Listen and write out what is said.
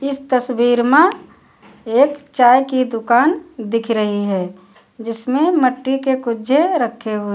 इस तस्वीर मा एक चाय की दुकान दिख रही है जिसमें मट्टी के कुज्जे रखे हुए--